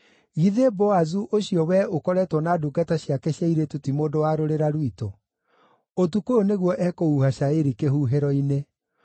Githĩ Boazu ũcio wee ũkoretwo na ndungata ciake cia airĩtu ti mũndũ wa rũrĩra rwitũ? Ũtukũ ũyũ nĩguo ekũhuha cairi kĩhuhĩro-inĩ.